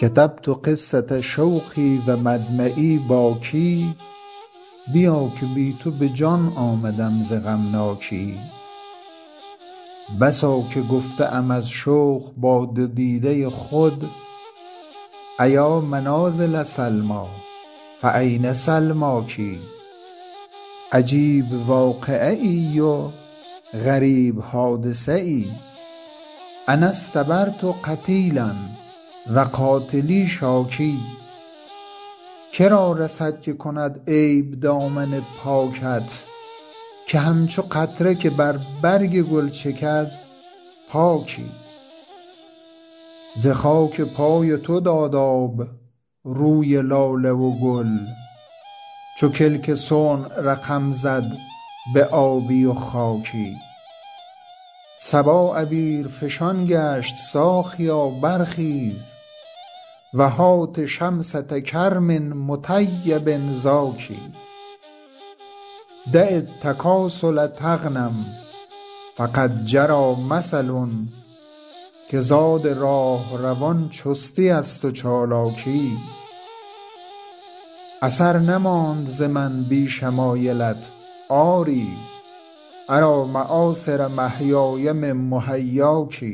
کتبت قصة شوقی و مدمعی باکی بیا که بی تو به جان آمدم ز غمناکی بسا که گفته ام از شوق با دو دیده خود أیا منازل سلمیٰ فأین سلماک عجیب واقعه ای و غریب حادثه ای أنا اصطبرت قتیلا و قاتلی شاکی که را رسد که کند عیب دامن پاکت که همچو قطره که بر برگ گل چکد پاکی ز خاک پای تو داد آب روی لاله و گل چو کلک صنع رقم زد به آبی و خاکی صبا عبیرفشان گشت ساقیا برخیز و هات شمسة کرم مطیب زاکی دع التکاسل تغنم فقد جری مثل که زاد راهروان چستی است و چالاکی اثر نماند ز من بی شمایلت آری أری مآثر محیای من محیاک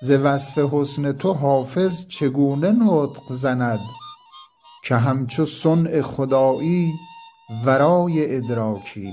ز وصف حسن تو حافظ چگونه نطق زند که همچو صنع خدایی ورای ادراکی